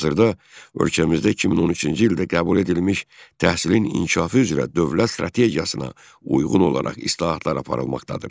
Hazırda ölkəmizdə 2013-cü ildə qəbul edilmiş təhsilin inkişafı üzrə dövlət strategiyasına uyğun olaraq islahatlar aparılmaqdadır.